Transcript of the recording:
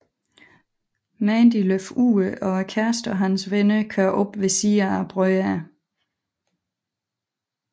Mandy løber ud og kæresten og hans venner kører op ved siden af brødrene